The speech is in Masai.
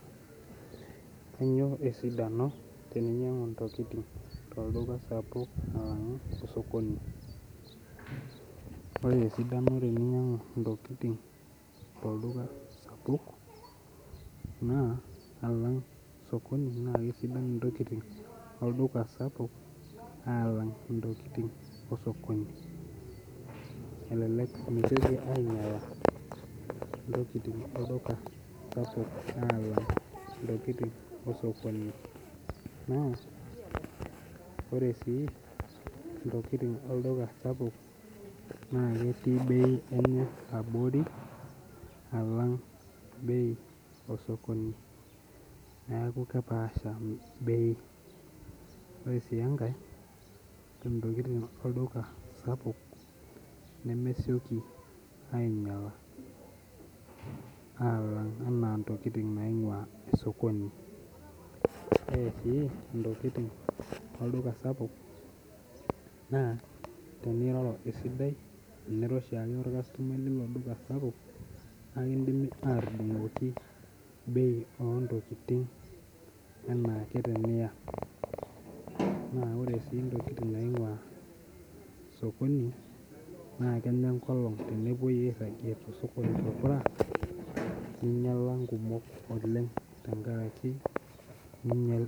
Kanyio esidano teninyangu ntokitin tolduka sapuk alangu osokoni ore esidano teninyangu ntokitin tolduka sapuk na alang na alang osokoni na kesidai ntokitin olduka sapuk amu kesidai ntokitin olduka sapuk alang nosokoni ,elek elelek ntokitin olduka sapuk alang ntokitin osokoni ka ore si ntokitin olduka sapuk naketii bei enye abori alang bei osokoni neaku kepaasha bei ore ntokitin olduka sapuk nemesieki ainyala ana ntokitin naimu osokoni ore si ntokitin olduka sapuk na teniroro esidai tenira oshiake orkastomai lilo duka na kidimi atudungoki bei ontokitin ana ake teniya na ore bei ontokitin naingua osokoni na kenya enkolong ninyala nkumok oleng tenkaraki ninyal.